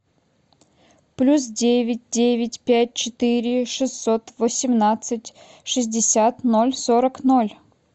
плюс девять девять пять четыре шестьсот восемнадцать шестьдесят ноль сорок ноль